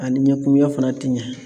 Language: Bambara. A ni ɲɛkumunya fana ti ɲɛ.